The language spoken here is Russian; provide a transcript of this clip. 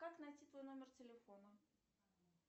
как найти твой номер телефона